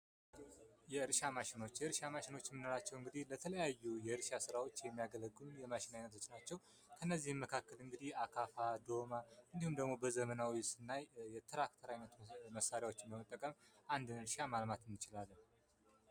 የእርሻ ማሽኖች : የእርሻ ማሽኖች እምንላቸዉ እንግዲ በተለያዩ የእርሻ ስራወች የሚያገለግሉ የማሽን አይነቶች ናቸዉ። ከነዚህም መካከል አካፋ ዶማ እንዲሁም በዘመናዊ ስናይ እንደ ትራክተር መሳሪያወችን በመጠቀም አንድን እርሻ ማልማት እንችላለን።